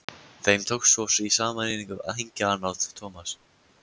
Þeim tókst svo í sameiningu að hengja hann á Thomas.